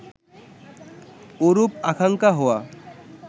ওরূপ আকাঙ্খা হওয়া